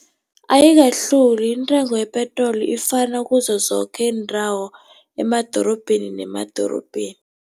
Ayikahluki intengo yepetroli ifana kizo zoke iindawo, emadorobheni nemadorobheni.